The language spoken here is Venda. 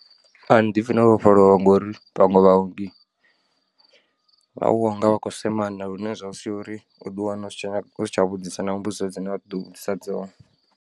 Ani ḓipfhi no vhofholowa ngori vhaṅwe vhaongi vha wanga vhakho semana lune zwa sia uri uḓi wane u si tsha vhudzisa na mbudziso dzine vha ḓo vhudzisa dzone.